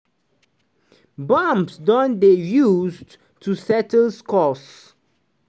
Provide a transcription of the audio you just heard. "bombs don dey [used to settle scores].